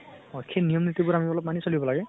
সেই নিয়ম নীতিবোৰ আমি মানি চলিব লাগে।